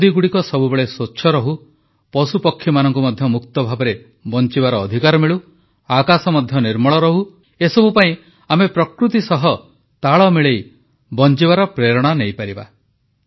ନଦୀଗୁଡ଼ିକ ସବୁବେଳେ ସ୍ୱଚ୍ଛ ରହୁ ପଶୁପକ୍ଷୀମାନଙ୍କୁ ମଧ୍ୟ ମୁକ୍ତ ଭାବରେ ବଂଚିବାର ଅଧିକାର ମିଳୁ ଆକାଶ ମଧ୍ୟ ନିର୍ମଳ ରହୁ ଏସବୁ ପାଇଁ ଆମେ ପ୍ରକୃତି ସହିତ ତାଳ ମିଳେଇ ବଂଚିବାର ପ୍ରେରଣା ନେଇପାରିବା